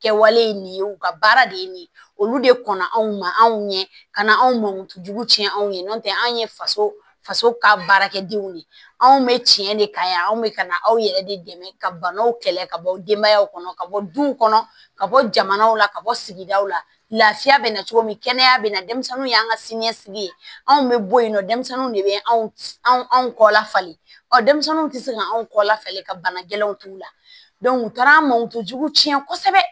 Kɛwale ye nin ye u ka baara de ye nin ye olu de kɔnna anw ma anw ɲɛ ka na anw mankutu tiɲɛ anw ye n'o tɛ anw ye faso faso ka baarakɛdenw de anw bɛ tiɲɛ de kan yan anw bɛ ka na aw yɛrɛ de dɛmɛ ka banaw kɛlɛ ka bɔ denbayaw kɔnɔ ka bɔ du kɔnɔ ka bɔ jamanaw la ka bɔ sigidaw lafiya bɛ na cogo min kɛnɛya bɛ na denmisɛnninw y'an ka siniɲɛsigi ye anw bɛ bɔ yen nɔ denmisɛnninw de bɛ anw kɔ la fali ɔ denmisɛnninw tɛ se ka anw kɔ lafale ka bana gɛlɛnw t'u la u taara an mantuw tiɲɛ kosɛbɛ